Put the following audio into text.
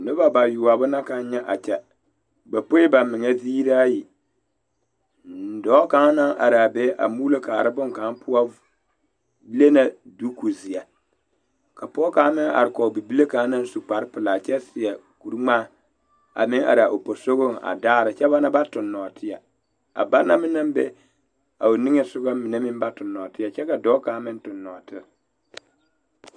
Nobɔ bayoɔbo na kaŋ nyɛ a kyɛ ba poe ba meŋa ziiraayi dɔɔ kaŋ naŋ araa be a puulo kaara bonkaŋ poɔ le na duuku zeɛ ka pɔɔ kaŋ meŋ are kɔge bibile kaŋ naŋ su kparepelaa kyɛ seɛ kuringmaa a meŋ araa o posugɔŋ daara kyɛ ba na ba tuŋ nɔɔteɛ a ba naŋ meŋ naŋ be a o niŋesugɔ be meŋ ba tuŋ nɔɔteɛ kyɛ ka dɔɔ kaŋ meŋ tuŋ nɔɔteɛ.